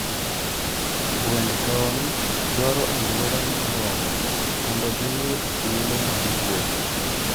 Gwend tong dwaro aluoro moromo mondo gi yud thuolo mar wuotho.